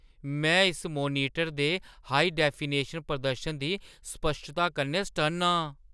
में इस मोनीटर दे हाई-डेफिनिशन प्रदर्शन दी स्पश्टता कन्नै सटन्न आं।